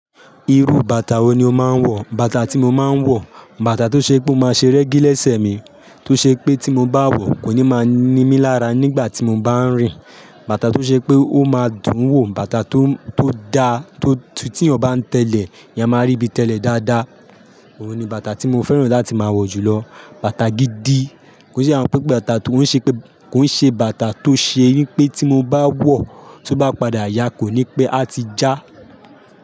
Irú bàtà wo ni o máa ń wọ̀? Bàtà tí mo máa ń wọ̀, bàtà tó ṣe pé mo máa ṣe rẹ́gí lẹ́sẹ̀ mi, tó ṣe pé tí mo bá wọ̀ kò ní máa ní mí lára nígbà tí mo bá ń rìn, bàtà tó ṣe pé ó máa dùn wọ̀, bàtà tó, tó da, tí, tí ọ̀ ẹ̀yán ba tẹ́lẹ̀, èèyàn máa rí ibi tẹ́lẹ̀ dáadáa. Òun ni bàtà tí mo fẹ́ràn láti máa wọ̀ jù lọ. Bàtà gidi. Kò se àwọn pẹ́ bàtà tó, ó ń ṣe pé, kò ń ṣe bàtà tó ṣe pé tí mo bá wọ̀, tó bá padà yà kò ní pé a ti já.